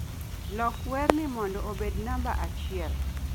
loko werni mondo obed namba achiel